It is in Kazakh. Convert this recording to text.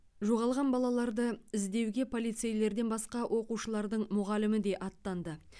жоғалған балаларды іздеуге полицейлерден басқа оқушылардың мұғалімі де аттанды